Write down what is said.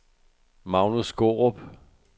Magnus Skaarup